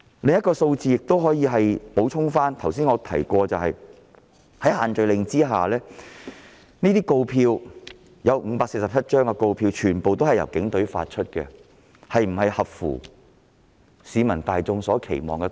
我想舉出另一項數字作補充：在限聚令之下，所發出的547張告票全部來自警隊，這是否合乎市民大眾的期望？